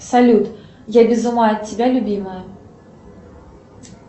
салют я без ума от тебя любимая